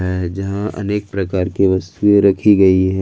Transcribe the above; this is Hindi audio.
है जहां अनेक प्रकार की वस्तुएं रखी गई है।